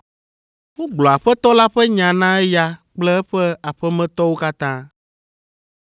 Wogblɔ Aƒetɔ la ƒe nya na eya kple eƒe aƒemetɔwo katã.